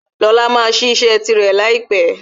Lóla máa sí ise rẹ laipe